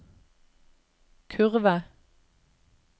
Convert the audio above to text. kurve